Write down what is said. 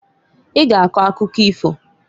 I g'a akọ akụkọ ifoǃ